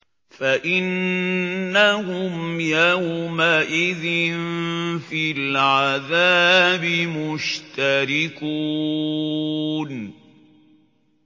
فَإِنَّهُمْ يَوْمَئِذٍ فِي الْعَذَابِ مُشْتَرِكُونَ